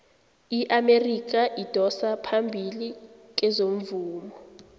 iamerika idosa phambili kezomvumo